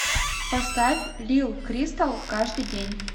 поставь лил кристал каждый день